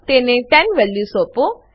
તેને 10 વેલ્યુ સોપો